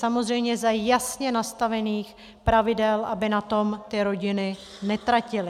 Samozřejmě za jasně nastavených pravidel, aby na tom ty rodiny netratily.